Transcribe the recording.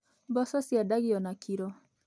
Mboco ciendagio na kiro.